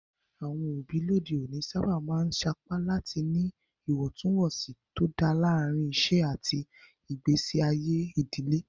Àwọn òbí lóde òní sábà máa ń sapá láti ní ìwọ̀ntúnwọ̀nsì tó dáa láàárín iṣẹ́ àti ìgbésí ayé ìdílé.